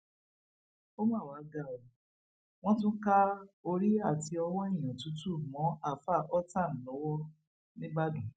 ó mà wàá ga ọ wọn tún ka orí àti ọwọ èèyàn tútù mọ àáfáà họtaán lọwọ nìbàdàn